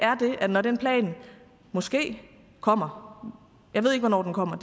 at når den plan måske kommer jeg ved ikke hvornår den kommer